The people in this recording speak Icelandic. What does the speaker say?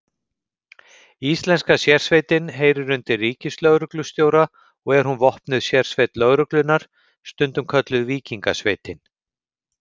Íslenska sérsveitin heyrir undir ríkislögreglustjóra og er hún vopnuð sérsveit lögreglunnar, stundum kölluð Víkingasveitin.